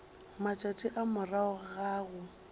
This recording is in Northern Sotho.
matšatši a morago ga go